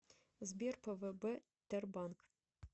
сбер пвб тербанк